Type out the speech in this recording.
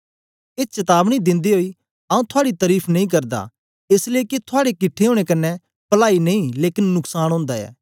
ए चतावनी दिन्दे ओई आऊँ थुआड़ी तरीफ नेई करदा एस लेई के थुआड़े किट्ठे ओनें कन्ने पलाई नेई लेकन नुक्सान ओंदा ऐ